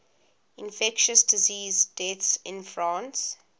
infectious disease deaths in france